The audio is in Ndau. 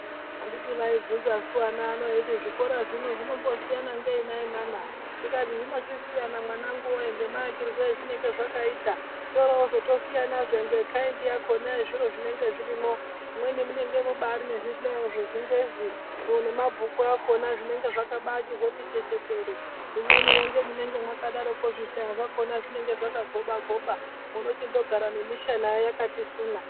Handiti vaibvunzasu ana anaya kuti zvikora zvinobzvinombosiyana ngei akhiti nana ndikati zvinochisiyana mwanangu wee nemaakirwe azvinge zvakaita zvosiyanazve nekhaindi yakona zviro zvinenge zvirimo mumweni mune zvihlayo zvechingezi nemabhuku akona zvinenge zvakambati chechetere mumweni zvihlayo zvakona zvinenge zvakagoba goba wochigara nemishana yakati suna.